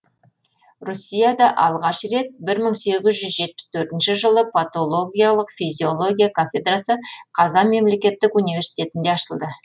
россияда алғаш рет бір мың сегіз жүз жетпіс төртінші жылы патологиялық физиология кафедрасы қазан мемлекеттік университетінде ашылды